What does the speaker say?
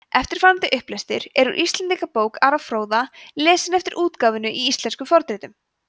eftirfarandi upplestur er úr íslendingabók ara fróða lesinn eftir útgáfunni í íslenskum fornritum